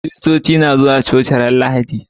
Kiristoci na zuwa coci ranar lahadi